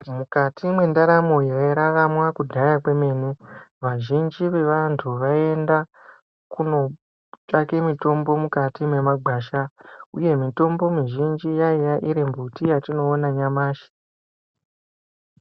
Mukati mwendaramo yairaramwa kudhaya kwemene, vazhinji vevantu vaienda kunotsvake mitombo mukati mwemagwasha uye mitombo mizhinji yaiya iri mbuti yatinoona nyamashi.